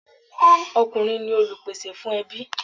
Ọkùnrin ni Olùpèsè fún ẹbí.